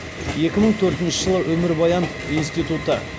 екі мың төртінші жылы өмірбаян институты